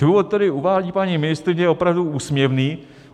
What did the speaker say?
Důvod, který uvádí paní ministryně, je opravdu úsměvný.